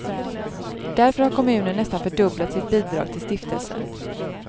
Därför har kommunen nästan fördubblat sitt bidrag till stiftelsen.